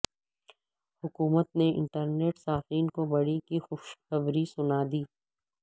حکومت نے انٹرنیٹ صارفین کوبڑی کی خوشخبری سنا دی